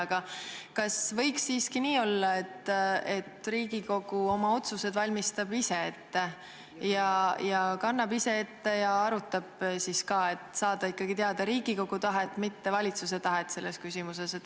Aga kas võiks siiski nii olla, et Riigikogu oma otsused valmistab ise ette, kannab ise ette ja arutab siis ka, et saaks ikkagi teada Riigikogu tahet, mitte valitsuse tahet selles küsimuses?